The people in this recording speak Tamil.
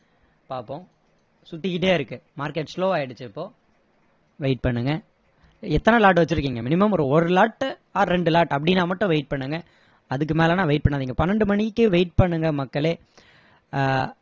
பாப்போம் சுத்திகிட்டே இருக்கு market slow ஆகிடுச்சி இப்போ wait பண்ணுங்க எத்தனை lot வச்சிருக்கீங்க minimum ஒரு ஒரு lot or ரெண்டு lot அப்படின்னா மட்டும் wait பண்ணுங்க அதுக்கு மேலன்னா wait பண்ணாதிங்க பன்னிரெண்டு மணிக்கு wait பண்ணுங்க மக்களே